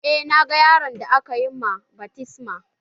Eh na ga yaron da aka ma baftisma